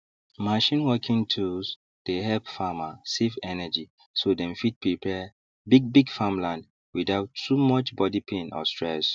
machine working tools dey help farmer save energy so dem fit prepare bigbig farmland without too much body pain or stress